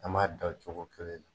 An b'a da o cogo kelen na.